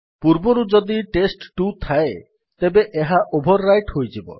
ପୂର୍ବରୁ ଯଦି ଟେଷ୍ଟ2 ଥାଏ ତେବେ ଏହା ଓଭର୍ ରାଇଟ୍ ହୋଇଯିବ